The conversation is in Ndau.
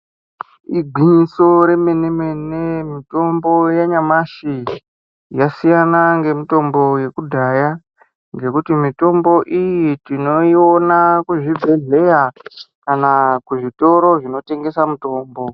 Igwinyiso remene-mene mitombo yanyamashi yasiyana ngemitombo yekudhaya, ngekuti mitombo iyi tinoiona kuzvibhedhleya kana kuzvitoro zvinotengesa mutombo.